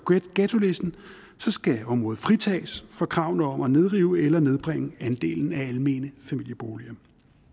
ghettolisten skal området fritages for kravene om at nedrive eller nedbringe andelen af almene familieboliger